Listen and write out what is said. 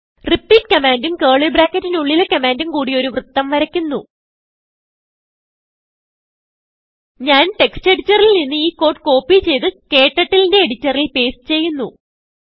repeatകമാൻഡും curly bracketനുള്ളിലെ കമാൻഡും കൂടി ഒരു വൃത്തം വരയ്ക്കുന്നു ഞാൻ textഎഡിറ്ററിൽ നിന്ന് ഈ കോഡ് കോപ്പി ചെയ്ത് KTurtleന്റെ എഡിറ്ററിൽ പേസ്റ്റ് ചെയ്യുന്നു